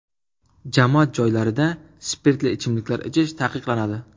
Jamoat joylarida spirtli ichimliklar ichish taqiqlanadi.